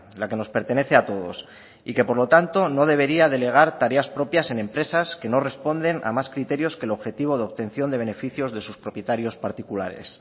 la que nos pertenece a todos y que por lo tanto no debería delegar tareas propias en empresas que no responden a más criterios que el objetivo de obtención de beneficios de sus propietarios particulares